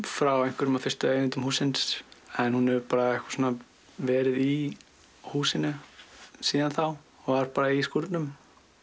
frá einhverjum af fyrstu eigendum hússins en hefur verið í húsinu síðan þá og var bara í skúrnum